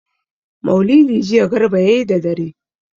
Maulidi jiya Garba ya yi da dare.